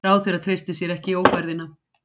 Ráðherra treysti sér ekki í ófærðina